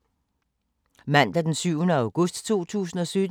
Mandag d. 7. august 2017